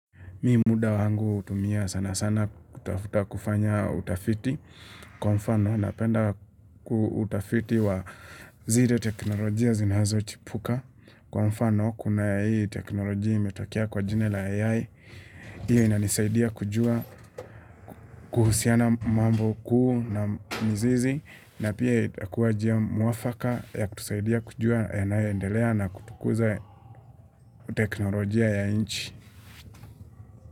Mi muda wangu hutumia sana sana kutafuta kufanya utafiti. Kwa mfano, napenda ku utafiti wa zile teknolojia zinazo chipuka. Kwa mfano, kuna hii teknolojia imetokea kwa jina la AI. Hiyo inanisaidia kujua kuhusiana mambo kuu na mzizi. Na pia itakuwa njia mwafaka ya kutusaidia kujua yanayoendelea na kutukuza teknolojia ya inchi.